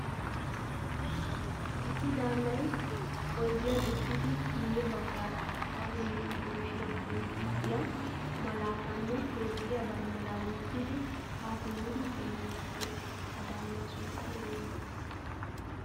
Issi daanay oydiyan uttidi guye baggaara adisaba yunvurshiya qonccisiiyaa malaatanne toophphiyaa banddira wottidi ha simidi xeelidi de'ees. Ha daanaa sunttay oone?